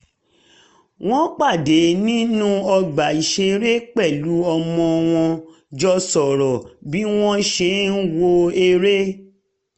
wọ́n pàdé nínú ọgbà ìṣeré pẹ̀lú ọmọ wọn jọ sọ̀rọ̀ bí wọ́n ṣe ń wo eré